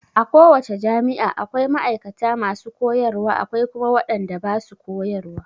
A ko wace jami'a akwai ma'aikata masu koyarwa akwai kuma wadanda basu koyarwa.